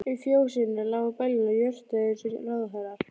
Í fjósinu lágu beljurnar og jórtruðu eins og ráðherrar.